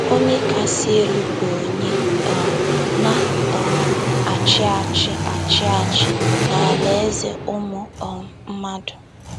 “ Onye Kasị Elu bụ Onye um Na - um achị Achị achị Achị n’alaeze ụmụ um mmadụ. ”